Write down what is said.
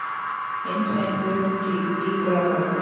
Hinsegin dögum lýkur á morgun.